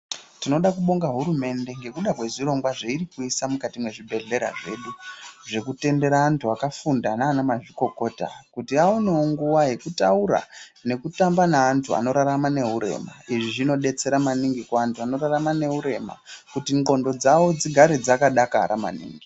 Tinoda kubonga hurumende nekuda kwezvirongwa zveirikuisa mukati mwezvibhedhlera zvedu, zvekutendera antu akafunda nanamazvikokota kuti vaonewo nguwa yekutaura nekutamba neantu anorarama neurema, izvi zvinodetsera maningi kuvantu vanorarama neurema kuti ndxondo dzawo dzigare dzakadakara maningi.